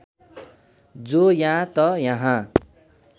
जो या त यहाँ